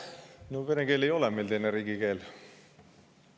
No vene keel ei ole meil teine riigikeel.